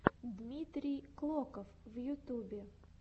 дмитрий клоков в ютубе